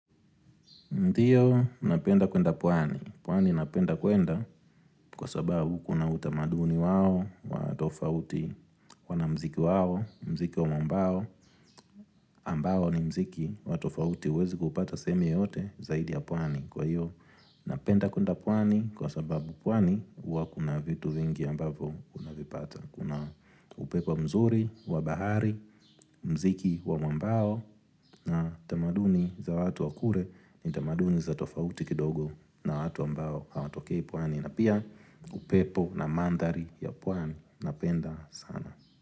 Ndiyo, napenda kwenda pwani. Pwani napenda kwenda kwa sababu kuna utamaduni wao, watofauti, wana mziki wao, mziki wa mbao, ambao ni mziki, watofauti uwezi kupata sehemu yoyote zaidi ya pwani. Kwa hiyo, napenda kwenda pwani kwa sababu pwani uwa kuna vitu vingi ambavo kuna vipata. Kuna upepo mzuri, wabahari, mziki wa mwambao na tamaduni za watu wa kure ni tamaduni za tofauti kidogo na watu ambao hawatokei pwani. Na pia upepo na mandhari ya pwani. Napenda sana.